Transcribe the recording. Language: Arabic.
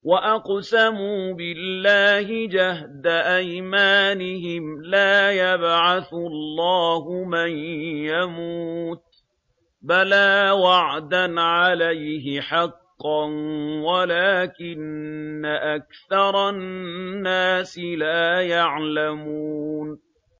وَأَقْسَمُوا بِاللَّهِ جَهْدَ أَيْمَانِهِمْ ۙ لَا يَبْعَثُ اللَّهُ مَن يَمُوتُ ۚ بَلَىٰ وَعْدًا عَلَيْهِ حَقًّا وَلَٰكِنَّ أَكْثَرَ النَّاسِ لَا يَعْلَمُونَ